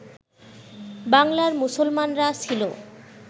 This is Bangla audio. বাংলার মুসলমানরা ছিল